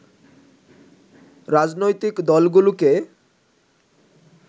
রাজনৈতিক দলগুলোকে